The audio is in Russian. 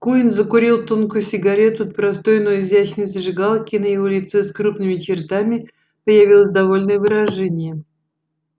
куинн закурил тонкую сигарету от простой но изящной зажигалки и на его лице с крупными чертами появилось довольное выражение